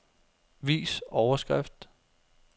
Vis overskrift.